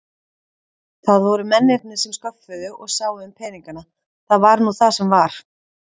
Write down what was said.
Það voru mennirnir sem sköffuðu og sáu um peningana, það var nú það sem var.